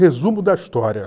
Resumo da história.